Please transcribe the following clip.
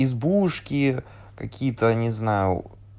избушки какие-то не знаю